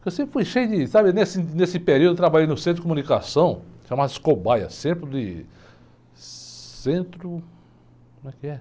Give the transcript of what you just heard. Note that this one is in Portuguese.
Eu sempre fui cheio de, sabe, nesse, nesse período eu trabalhei no centro de comunicação, chamava-se Cobaia, centro de, centro, como é que é?